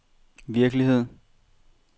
virkelighed